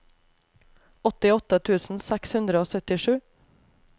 åttiåtte tusen seks hundre og syttisju